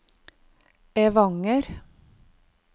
Evanger